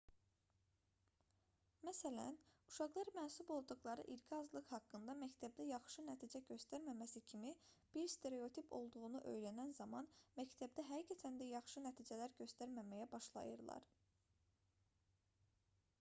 məsələn uşaqlar mənsub olduqları irqi azlıq haqqında məktəbdə yaxşı nəticə göstərməməsi kimi bir stereotip olduğunu öyrənən zaman məktəbdə həqiqətən də yaxşı nəticələr göstərməməyə başlayırlar